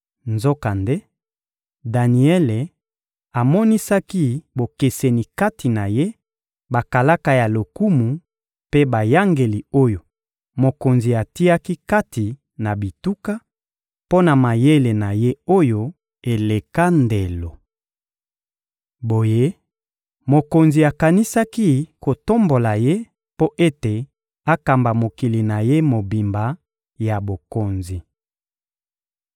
Nzokande, Daniele amonisaki bokeseni kati na ye, bakalaka ya lokumu mpe bayangeli oyo mokonzi atiaki kati na bituka, mpo na mayele na ye oyo eleka ndelo. Boye, mokonzi akanisaki kotombola ye mpo ete akamba mokili na ye mobimba ya bokonzi.